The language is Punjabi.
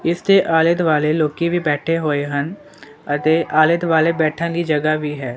ਇਸਦੇ ਆਲੇ ਦੁਆਲੇ ਲੋਕੀ ਵੀ ਬੈਠੇ ਹੋਏ ਹਨ ਅਤੇ ਆਲੇ ਦੁਆਲੇ ਬੈਠਣ ਦੀ ਜਗ੍ਹਾ ਵੀ ਹੈ।